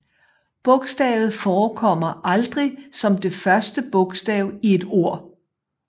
Bogstavet forekommer aldrig som det første bogstav i et ord